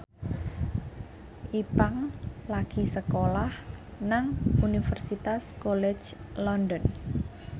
Ipank lagi sekolah nang Universitas College London